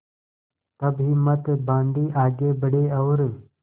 तब हिम्मत बॉँधी आगे बड़े और